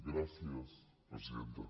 gràcies presidenta